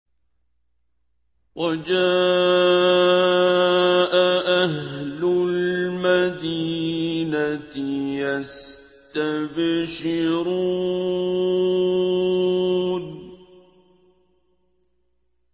وَجَاءَ أَهْلُ الْمَدِينَةِ يَسْتَبْشِرُونَ